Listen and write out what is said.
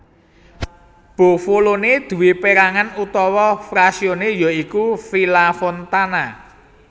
Bovolone duwé pérangan utawa frazione ya iku Villafontana